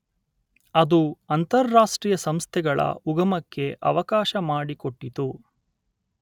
ಅದು ಅಂತಾರಾಷ್ಟ್ರೀಯ ಸಂಸ್ಥೆಗಳ ಉಗಮಕ್ಕೆ ಅವಕಾಶ ಮಾಡಿಕೊಟ್ಟಿತು.